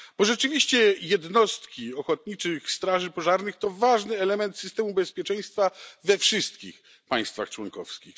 Bo rzeczywiście jednostki ochotniczych straży pożarnych to ważny element systemu bezpieczeństwa we wszystkich państwach członkowskich.